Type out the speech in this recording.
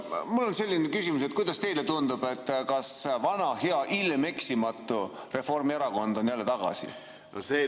Mul on selline küsimus: kuidas teile tundub, kas vana hea ilmeksimatu Reformierakond on jälle tagasi?